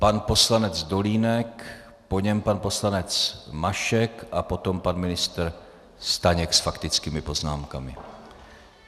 Pan poslanec Dolínek, po něm pan poslanec Mašek a potom pan ministr Staněk s faktickými poznámkami.